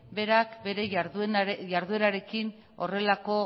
berak bere jarduerarekin horrelako